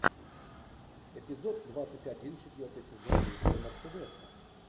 эпизод двадцать один четвертый сезон мистера мерседеса